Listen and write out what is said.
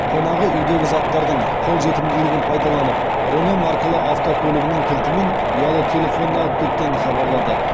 қонағы үйдегі заттардың қолжетімділігін пайдаланып рено маркалы автокөлігінің кілті мен ұялы телефонын алып кеткенін хабарлады